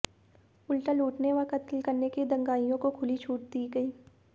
उल्टा लूटने व कत्ल करने के लिए दंगाइयों को खुली छूट दी गयी